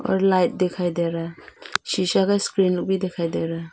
और लाइट दिखाई दे रहा है शीशा का स्क्रीन भी दिखाई दे रहा है।